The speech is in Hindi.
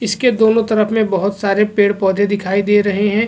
इसके दोनों तरफ में बहुत सारे पेड़-पौधे दिखाई दे रहे हैं।